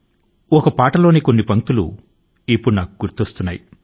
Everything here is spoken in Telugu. నాకు ఒక పాట లోని కొన్ని పంక్తులు ఈ సందర్భం లో గుర్తు కు వస్తున్నాయి